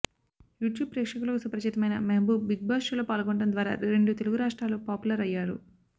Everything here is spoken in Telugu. యూట్యూబ్ ప్రేక్షకులకు సుపరిచితమైన మెహబూబ్ బిగ్ బాస్ షోలో పాల్గొనడం ద్వారా రెండు తెలుగు రాష్ట్రాల్లో పాపులర్ అయ్యారు